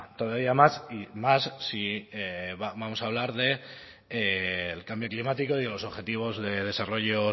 todavía más y más si vamos a hablar del cambio climático y de los objetivos de desarrollo